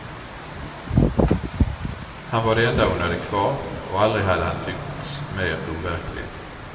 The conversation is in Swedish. Han var det enda hon hade kvar, och aldrig hade han tyckts mer overklig.